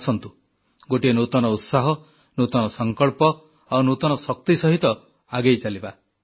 ଆସନ୍ତୁ ଗୋଟିଏ ନୂତନ ଉତ୍ସାହ ନୂତନ ସଂକଳ୍ପ ଆଉ ନୂତନ ଶକ୍ତି ସହିତ ଆଗେଇ ଚାଲିବା